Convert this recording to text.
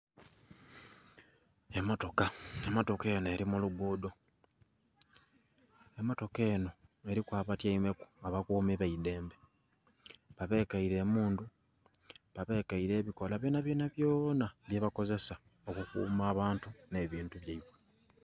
Emmotoka, emmotoka enho eli ku lugudho. Emmotoka enho eliku abatyaimeku, abakuumi b'eidembe. Babekeile emmundu babekeile ebikola byonabyona byona byebakozesa okukuuma abaantu nh'ebintu byaibwe